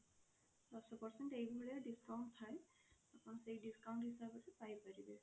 ଦଶ percent ଏଇ ଭଳିଆ discount ଥାଏ ଆପଣ ସେଇ discount ହିସାବରେ ପାଇ ପାରିବେ।